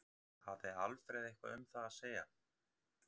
Hafði Alfreð eitthvað um það að segja?